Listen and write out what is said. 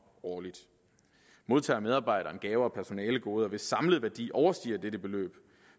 årligt modtager medarbejderen gaver og personalegoder hvis samlede værdi overstiger dette beløb